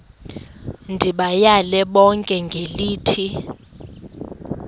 ndibayale bonke ngelithi